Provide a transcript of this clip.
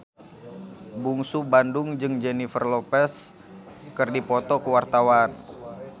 Bungsu Bandung jeung Jennifer Lopez keur dipoto ku wartawan